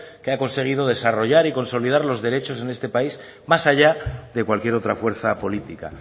que ha conseguido desarrollar y consolidar los derechos en este país más allá de cualquier otra fuerza política